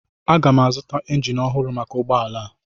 Aga m azụta injin ọhụrụ maka ụgbọ ala a.